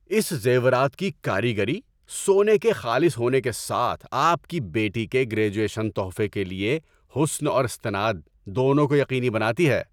اس زیورات کی کاریگری، سونے کے خالص ہونے کے ساتھ آپ کی بیٹی کے گریجویشن تحفے کے لیے حسن اور استناد دونوں کو یقینی بناتی ہے۔